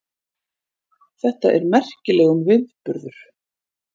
Þetta er merkilegum viðburður